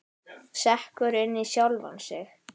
Sekkur inn í sjálfan sig.